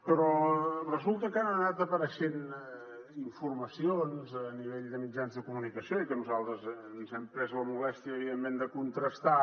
però resulta que han anat apareixent informacions a nivell de mitjans de comunicació i que nosaltres ens hem pres la molèstia evidentment de contrastar